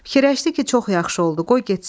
Fikirləşdi ki, çox yaxşı oldu, qoy getsin.